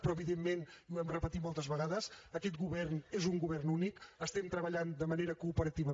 però evidentment i ho hem repetit moltes vegades aquest govern és un govern únic treballem de manera cooperativa